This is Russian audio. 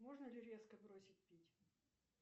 можно ли резко бросить пить